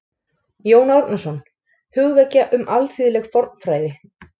Jón Árnason: Hugvekja um alþýðleg fornfræði